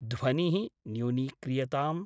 ध्वनिः न्यूनीक्रियताम्।